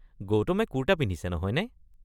গৌতমে কুৰ্টা পিন্ধিছে নহয়নে?